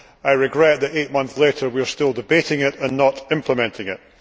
I regret that, eight months later, we are still debating it and not implementing it.